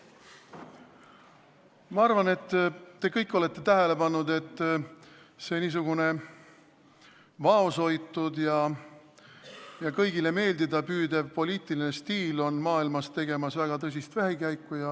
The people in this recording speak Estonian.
Ma arvan, et te kõik olete tähele pannud, et vaoshoitud ja kõigile meeldida püüdev poliitiline stiil on maailmas tegemas tõsist vähikäiku.